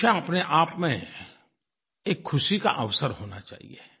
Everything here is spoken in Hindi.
परीक्षा अपनेआप में एक ख़ुशी का अवसर होना चाहिये